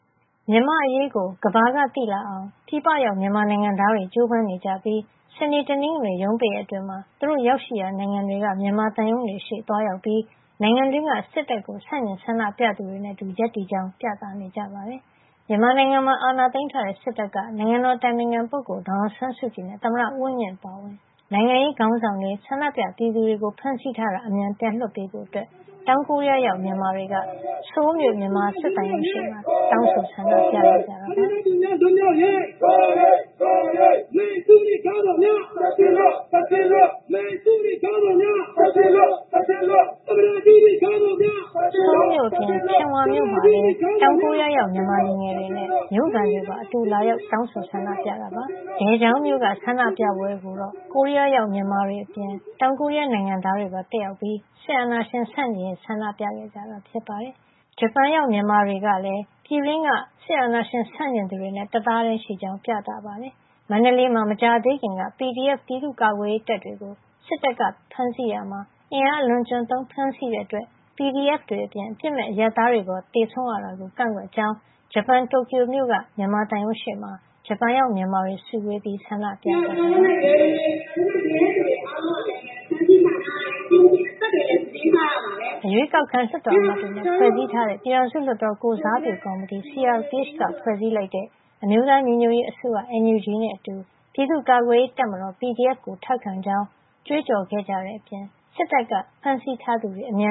မြန်မာ့အရေးကို ကမ္ဘာကသိလာအောင် ပြည်ပရောက် မြန်မာနိုင်ငံသားတွေ ကြိုးပမ်းနေကြပြီး စနေ တနင်္ဂနွေ ရုံးပိတ်ရက်တွေမှာ သူတို့ရောက်ရှိရာ နိုင်ငံတွေက မြန်မာသံရုံးတွေရှေ့ သွားရောက်ပြီး နိုင်ငံတွင်းက စစ်တပ်ကို ဆန့်ကျင်ဆန္ဒပြ ပြည်သူတွေနဲ့အတူ ရပ်တည်ကြောင်း ပြသနေကြပါတယ်။ မြန်မာနိုင်ငံမှာ အာဏာသိမ်းထားတဲ့ စစ်တပ်က နိုင်ငံတော်အတိုင်ပင်ခံ ဒေါ်အောင်ဆန်းစုကြည်နဲ့ သမ္မတဦးဝင်းမြင့် အပါအဝင် နိုင်ငံရေးခေါင်းဆောင်တွေ၊ ဆန္ဒပြပြည်သူတွေကို ဖမ်းဆီးထားတာ အမြန်ပြန်လွှတ်ပေးဖို့ တောင်ကိုရီးယားရောက် မြန်မာတွေက တောင်ကိုရီးယားနိုင်ငံ ဆိုးလ်မြို့ မြန်မာစစ်သံရုံးရှေ့မှာ တနင်္ဂနွေနေ့က တောင်းဆိုဆန္ဒပြခဲ့ကြပါတယ်။ ဆိုးလ်မြို့အပြင် ချမ်ဝမ်မြို့မှာလည်း တောင်ကိုရီးယားရောက် မြန်မာလူငယ်တွေနဲ့ တောင်ကိုရီးယားမြို့ခံတွေပါ အတူလာရောက်ပြီး တောင်းဆိုဆန္ဒပြခဲ့ကြပါတယ်။ တောင်ကိုရီးုယားနိုင်ငံ ဒယ်ဂျောင်းန်မြို့က ဆန္ဒပြပွဲကိုတော့ ကိုရီးယားရောက် မြန်မာတွေအပြင် တောင်ကိုရီးယားနိုင်ငံသားတွေပါ တက်ရောက်ပြီး စစ်အာဏာရှင် ဆန့်ကျင်ရေး ဆန္ဒပြခဲ့ကြတာပါ။ ဂျပန်နိုင်ငံမှာလည်း ဂျပန်ရောက် မြန်မာတွေက ပြည်တွင်းမှာ စစ်အာဏာရှင် ဆန့်ကျင်နေသူတွေနဲ့အတူ တသားတည်းရှိကြောင်း ပြသခဲ့ကြပါတယ်။ မန္တလေးမှာ မကြာသေးခင်က PDF ပြည်သူ့ကာကွယ်ရေးတပ်တွေကို စစ်တပ်က ဖမ်းဆီးရာမှာ အင်အားအလွန်အကျွံသုံး ဖမ်းဆီးတဲ့အတွက် PDF တွေအပြင် အပြစ်မဲ့ အရပ်သားတွေပါ သေဆုံးရတာကို ကန့်ကွက်ကြောင်း ဂျပန်နိုင်ငံ တိုကျိုမြို့က မြန်မာသံရုံးရှေ့မှာ ဂျပန်ရောက် မြန်မာတွေ စုဝေးပြီး တနင်္ဂနွေနေ့က ဆန္ဒပြကြပါတယ်။ အရွေးကောက်ခံ လွှတ်တော်အမတ်တွေနဲ့ ဖွဲ့စည်းထာတဲ့ ပြည်ထောင်စုလွှတ်တော်ကိုယ်စားပြုကော်မတီ CRPH က ဖွဲ့စည်းလိုက်တဲ့ အမျိုးသားညီညွတ်ရေးအစိုးရ NUG နဲ့အတူ ပြည်သူ့ကာကွယ်ရေးတပ်မတော် PDF ကို ထောက်ခံကြောင်း ကြွေးကြော်ခဲ့ကြတဲ့အပြင် စစ်တပ်က ဖမ်းဆီးထားသူတွေကို အမ